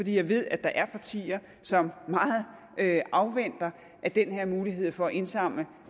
jeg ved at der er partier som afventer at den her mulighed for at indsamle